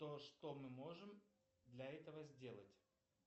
то что мы можем для этого сделать